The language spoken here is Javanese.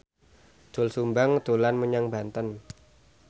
Doel Sumbang dolan menyang Banten